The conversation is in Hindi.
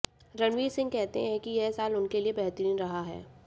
रणवीर सिंह कहते हैं कि यह साल उनके लिए बेहतरीन रहा है